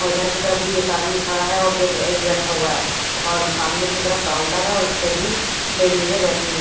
और उधर की तरफ भी एक आदमी खड़ा है और दो एक बैठा हुआ है और सामने की तरफ काउंटर है उसपे भी लेडीजें बैठी हुई--